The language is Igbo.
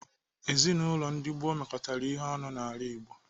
Ezinaụlọ ndi gboo mekọtara ihe ọnụ n'ala Igbo.